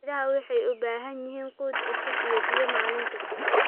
Idaha waxay u baahan yihiin quud cusub iyo biyo maalin kasta.